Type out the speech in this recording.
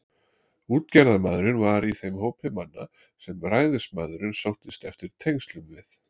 Útgerðarmaðurinn var í þeim hópi manna, sem ræðismaðurinn sóttist eftir tengslum við.